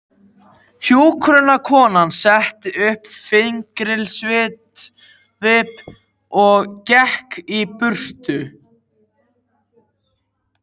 Hjúkrunarkonan setti upp fyrirlitningarsvip og gekk í burtu.